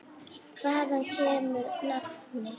Hvaðan kemur nafnið?